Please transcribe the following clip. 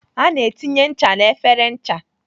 A na-etinye ncha n'efere ncha.